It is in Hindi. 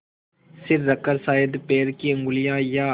सिर रखकर शायद पैर की उँगलियाँ या